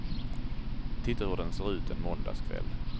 Titta hur den ser ut en måndagskväll.